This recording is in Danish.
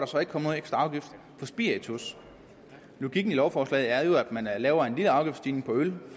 så ikke kommet ekstra afgift på spiritus logikken i lovforslaget er jo at man laver en lille afgiftsstigning på øl